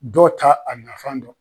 Dɔw ta a nafan dɔn.